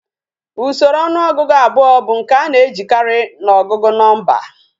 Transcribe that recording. Usoro onuogugu abuo bu nke ana ejikari na ogugu nomba